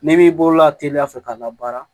N'i b'i bolo la teliya fɛ k'a la baara